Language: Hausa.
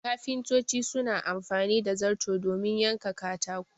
Kafintoci suna amfani da zarto domin yanka katago